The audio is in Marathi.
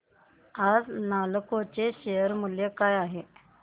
आज नालको चे शेअर मूल्य काय आहे